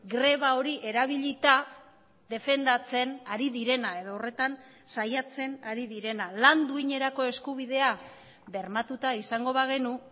greba hori erabilita defendatzen ari direna edo horretan saiatzen ari direna lan duinerako eskubidea bermatuta izango bagenu